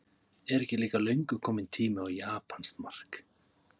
Er ekki líka löngu kominn tími á japanskt mark?